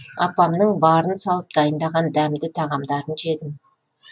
апамның барын салып дайындаған дәмді тағамдарын жедім